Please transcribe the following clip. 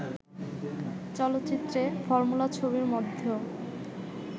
চলচ্চিত্রে, ফর্মুলা ছবির মধ্যেও